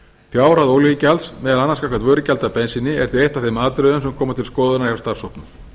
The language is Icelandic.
fjárhæð olíugjalds meðal annars gagnvart vörugjaldi af bensíni er því eitt af þeim atriðum sem koma til skoðunar hjá starfshópnum